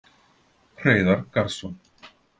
Hreiðar Garðsson,